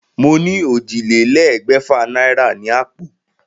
Mo ní ójìlélégbèfà náírà ni àpò